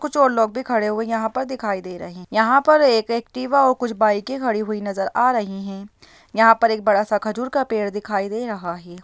कुछ और लोग भी खड़े हुए यहाँ पर दिखाई दे रहे है यहाँ पे एक एक्टिवा और कुछ बाइके खड़े नज़र आ रही है यहाँ पर एक बड़ा सा खजूर का पेड़ दिखाई दे रहा है।